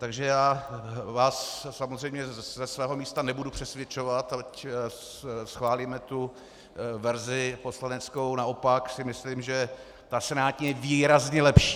Takže já vás samozřejmě ze svého místa nebudu přesvědčovat, ať schválíme tu verzi poslaneckou, naopak si myslím, že ta senátní je výrazně lepší.